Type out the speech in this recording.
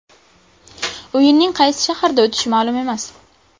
O‘yinning qaysi shaharda o‘tishi ma’lum emas.